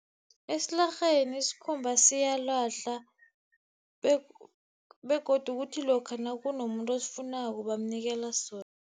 Esilarheni isikhumba siyalahlwa, begodu kuthi lokha nakunomuntu osifunako, bamnikela sona.